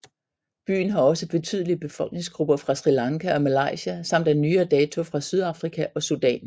Byen har også betydelige befolkningsgrupper fra Sri Lanka og Malaysia samt af nyere dato fra Sydafrika og Sudan